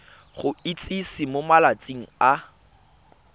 go itsise mo malatsing a